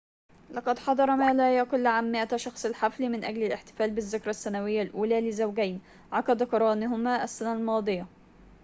لقد حضر ما لا يقل عن 100 شخصٍ الحفل من أجل الاحتفال بالذكرى السنوية الأولى لزوجين عقد قرانهما السنة الماضية